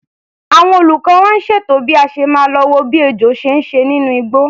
Àwọn olùkọ́ wa ń ṣètò bí a ṣe máa lo wo bí ejò ṣe ń ṣe nínú igbó.